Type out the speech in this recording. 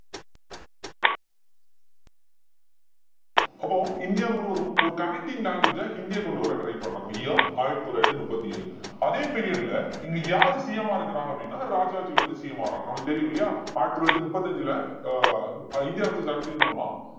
அப்போ இந்தியா முழுவதும் ஒரு connecting language அ ஹிந்திய கொண்டு வர try பண்றாங்க year ஆயிரத்தி தொள்ளாயிரத்தி முப்பத்தி ஏழு அதே period ல இங்க யாரு CM ஆ இருக்கிறாங்க அப்படின்னா ராஜாஜி வந்து CM ஆகுறாங்க நமக்கு தெரியும் இல்லையா ஆயிரத்தி தொள்ளாயிரத்தி முப்பத்தி அஞ்சுல அஹ் இந்திய அரசியல் சட்டத்தின் மூலமா